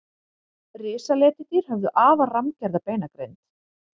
risaletidýr höfðu afar rammgerða beinagrind